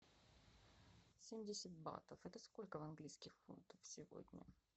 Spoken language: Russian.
семьдесят батов это сколько в английских фунтах сегодня